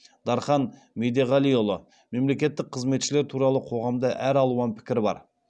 дархан медеғалиұлы мемлекеттік қызметшілер туралы қоғамда әр алуан пікір бар